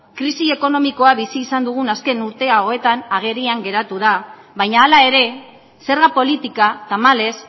krisi ekonomikoa bizi izan dugun azken urte hauetan agerian geratu da baina hala ere zerga politika tamalez